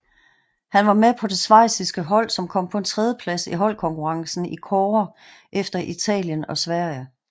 Han var med på det schweiziske hold som kom på en tredjeplads i holdkonkurrencen i kårde efter Italien og Sverige